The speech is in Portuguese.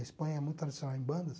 A Espanha é muito tradicional em bandas.